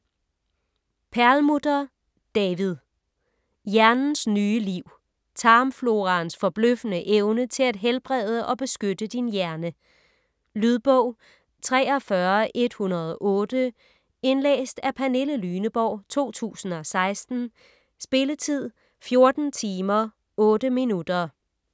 Perlmutter, David: Hjernens nye liv: tarmfloraens forbløffende evne til at helbrede og beskytte din hjerne Lydbog 43108 Indlæst af Pernille Lyneborg, 2016. Spilletid: 14 timer, 8 minutter.